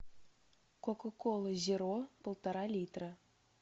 кока кола зеро полтора литра